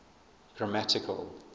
grammatical